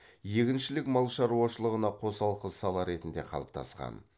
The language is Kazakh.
егіншілік мал шаруашылығына қосалқы сала ретінде қалыптасқан